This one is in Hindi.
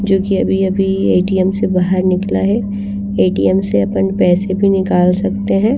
जो कि अभी-अभी ए_टी_एम से बाहर निकला हैं ए_टी_एम से अपन पैसे भी निकाल सकते हैं।